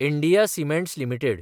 India cements limited